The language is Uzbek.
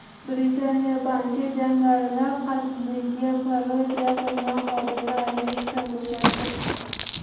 Britaniya banki jangarilar qatliga parodiya qilgan xodimlarini ishdan bo‘shatdi.